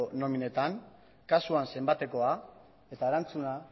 nominetan kasuan zenbatekoa eta erantzuna